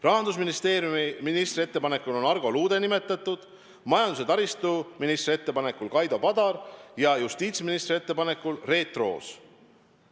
Rahandusministri ettepanekul on Argo Luude nimetatud, majandus- ja taristuministri ettepanekul Kaido Padar ja justiitsministri ettepanekul Reet Roos.